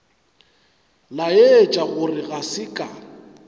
laetša gore ga se ka